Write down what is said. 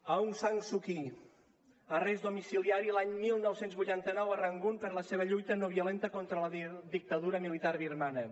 aung san suu kyi arrest domiciliari l’any dinou vuitanta nou a rangun per la seva lluita no violenta contra la dictadura militar birmana